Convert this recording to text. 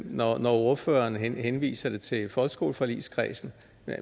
når når ordføreren henviser det til folkeskoleforligskredsen